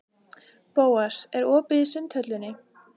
Bóas, er opið í Sundhöllinni?